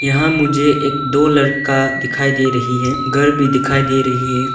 यहाँ मुझे एक दो लड़का दिखाई दे रही है घर भी दिखाई दे रही है।